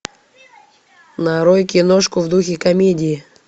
нарой киношку в духе комедии